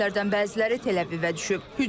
Raketlərdən bəziləri Təl-Əvivə düşüb.